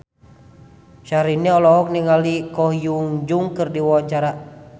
Syahrini olohok ningali Ko Hyun Jung keur diwawancara